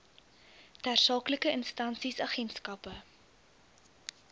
tersaaklike instansies agentskappe